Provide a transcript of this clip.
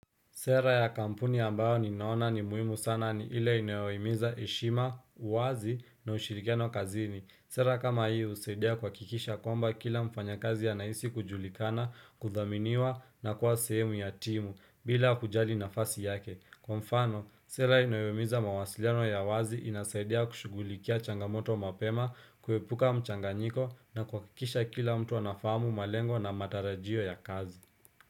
Sera ya kampuni ambayo ninaona ni muhimu sana ni ile inayoimiza heshima, wazi na ushirikiano kazini. Sera kama hii usaidia kuhakikisha kwamba kila mfanya kazi anaisi kujulikana, kuthaminiwa na kuwa sehemu ya timu bila kujali nafasi yake. Kwa mfano, sera inayoimiza mawasiliano ya wazi inasaidia kushugulikia changamoto mapema, kuhepuka mchanganyiko na kuhakikisha kila mtu anafamu malengo na matarajio ya kazi.